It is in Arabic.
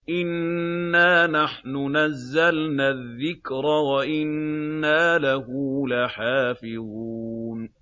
إِنَّا نَحْنُ نَزَّلْنَا الذِّكْرَ وَإِنَّا لَهُ لَحَافِظُونَ